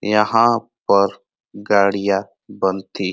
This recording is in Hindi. यहाँ पर गाड़ियाँ बनती --